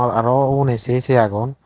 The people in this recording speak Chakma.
aro ugune sey sey agon.